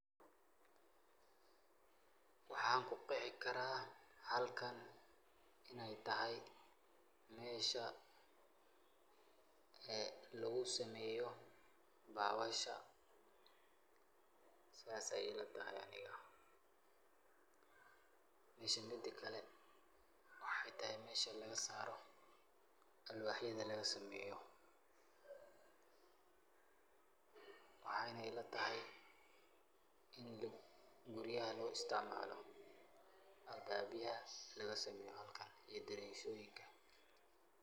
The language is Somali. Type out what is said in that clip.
Waxan ku Qeexi karah halkan Ina ayatahay, mesha ee lagu sameeyoh bawasha saas Aya ilatahay Anika meshan midakali waxathay mesha laga saaroh alwaxyatha laga sameeyoh waxayna ilatahay ini guuriyaha lagu isticmaloh setha halkasi daweelka .